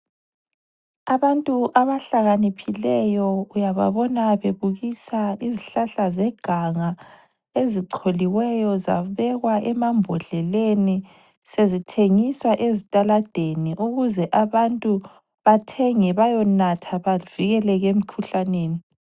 Abantu abahlakaniphileyo uyababona bebukisa izihlahla zeganga ezicholiweyo zabekwa emambodleleni sezithengiswa ezitaladeni ukuze abantu bathenge bayonatha bavikeleke emkhuhlaneni.